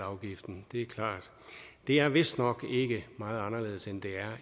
afgiften det er klart det er vist nok ikke meget anderledes end det er